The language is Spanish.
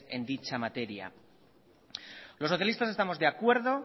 en dicha materia los socialistas estamos de acuerdo